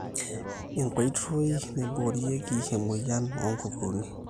enkoitoi naiboorieki emweyian onkukuuni